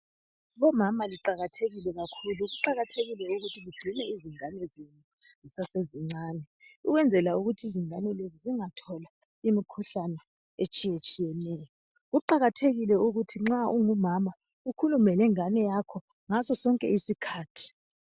Bomama liqakathekile kakhulu kuqakathekile ukuthi ligcine izingane zenu zisase zincane ukwenzela ukuthi izingane lezi zingatholi imikhuhlane etshiye tshiyeneyo kuqakathekile ukuthi nxa ngumama ukhulume lengane yakho ngasosonke isikhathi.